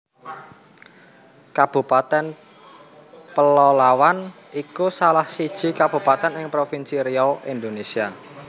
Kabupatèn Pelalawan iku salah siji Kabupatèn ing Provinsi Riau Indonésia